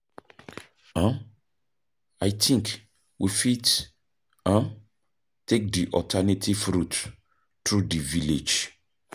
um I think we fit um take di alternative route through di village.